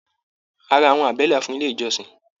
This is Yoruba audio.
A rà àwọn àbẹ́là fún ilé ìjọsìn.